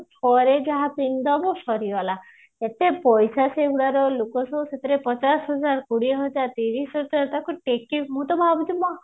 ଥରେ ଯାହା ପିନ୍ଧିଦବ ସରିଗଲା କେତେ ପଇସା ସେଗୁଡାର ଲୋକ ସବୁ ସେଥିରେ ପଚାଶ ହଜାର କୋଡିଏ ହଜାର ତିରିଶ ହଜାର ତାକୁ ଟେକି ମୁଁ ତ ଭାବୁଥିଲି